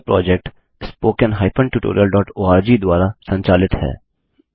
यह project httpspoken tutorialorg द्वारा संचालित है